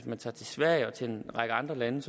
man tager til sverige og til en række andre lande